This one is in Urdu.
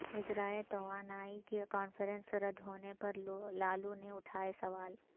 وزرائے توانائی کی کانفرنس رد ہونے پر لالو نے اٹھائے سوال